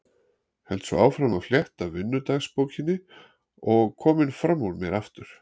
Held svo áfram að fletta vinnudagbókinni og kominn fram úr mér aftur.